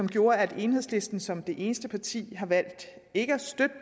gjort at enhedslisten som det eneste parti har valgt ikke at støtte